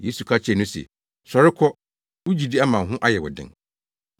Yesu ka kyerɛɛ no se, “Sɔre kɔ, wo gyidi ama wo ho ayɛ wo den.”